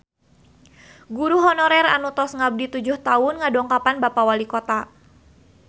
Guru honorer anu tos ngabdi tujuh tahun ngadongkapan Bapak Walikota